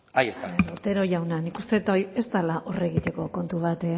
ahí está otero jauna nik uste dut hori ez dela hor egiteko kontu bat